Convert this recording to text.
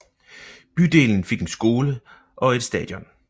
Bydelen fik en skole og et stadion